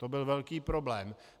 To byl velký problém.